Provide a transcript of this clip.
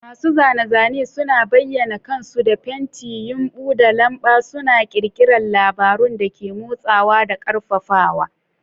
Masu zane-zane suna bayyana kansu da fenti, yumbu, da lamba, suna ƙirƙirar labarun da ke motsawa da ƙarfafawa.